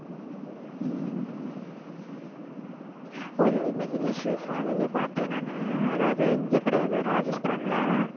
ஒரு இன்னைக்கு news காலையிலயே பார்த்தேன் நானு அதாவது இங்க கிடையாது ராஜஸ்தான்ல